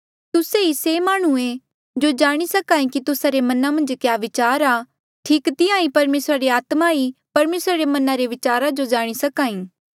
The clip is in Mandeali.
तुस्से ही से माह्णुंऐ जो जाणी सके कि तुस्सा रे मना मन्झ क्या विचार आ ठीक तिहां ईं परमेसरा री आत्मा ही परमेसरा रे मना रे विचारा जो जाणी सक्हा ई